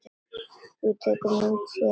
Þú tekur myndir, sé ég.